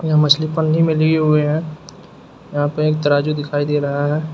यह मछली पन्नी में लिए हुए हैं यहाँ पे एक तराजू दिखाई दे रहा है।